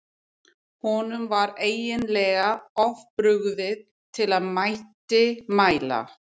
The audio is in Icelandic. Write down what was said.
Honum var eiginlega of brugðið til að hann mætti mæla.